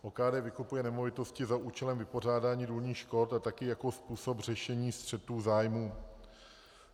OKD vykupuje nemovitosti za účelem vypořádání důlních škod a taky jako způsob řešení střetů zájmů.